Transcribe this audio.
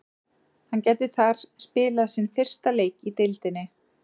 Hann gæti þar spilað sinn fyrsta leik í deildinni.